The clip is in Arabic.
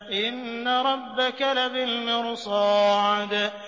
إِنَّ رَبَّكَ لَبِالْمِرْصَادِ